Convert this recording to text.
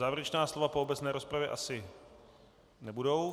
Závěrečná slova po obecné rozpravě asi nebudou.